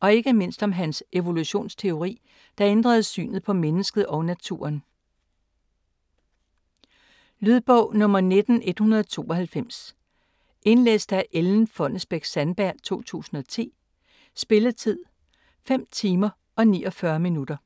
og ikke mindst om hans evolutionsteori, der ændrede synet på mennesket og naturen. Lydbog 19192 Indlæst af Ellen Fonnesbech-Sandberg, 2010. Spilletid: 5 timer, 49 minutter.